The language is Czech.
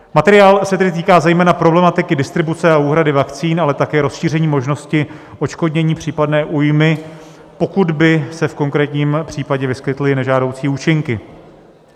Materiál se tedy týká zejména problematiky distribuce a úhrady vakcín, ale také rozšíření možnosti odškodnění případné újmy, pokud by se v konkrétním případě vyskytly nežádoucí účinky.